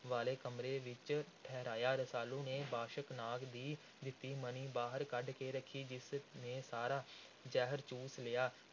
ਵਾਲੇ ਕਮਰੇ ਵਿਚ ਠਹਿਰਾਇਆ। ਰਸਾਲੂ ਨੇ ਬਾਸ਼ਕ ਨਾਗ ਦੀ ਦਿੱਤੀ ਮਣੀ ਬਾਹਰ ਕੱਢ ਕੇ ਰੱਖੀ, ਜਿਸ ਨੇ ਸਾਰਾ ਜ਼ਹਿਰ ਚੂਸ ਲਿਆ।